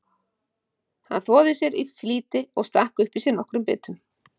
Hann þvoði sér því í flýti og stakk upp í sig nokkrum bitum.